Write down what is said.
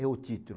É o título.